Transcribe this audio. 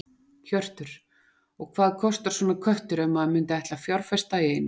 Hjörtur: Og hvað kostar svona köttur ef maður myndi ætla að fjárfesta í einum?